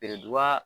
Beredu ba